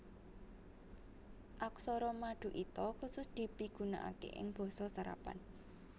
Aksara maduita khusus dipigunakaké ing Basa serapan